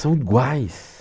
São iguais.